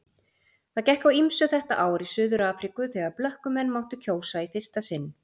Það gekk á ýmsu þetta ár í Suður-Afríku þegar blökkumenn máttu kjósa í fyrsta sinn.